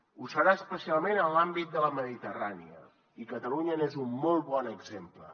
ho serà especialment en l’àmbit de la mediterrània i catalunya n’és un molt bon exemple